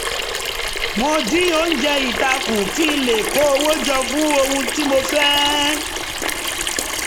mo dín oúnjẹ ita kù kí n lè kó owó jọ fún ohun tí mo fẹ́